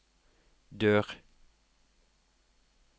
dør